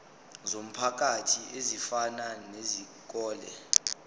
zomphakathi ezifana nezikole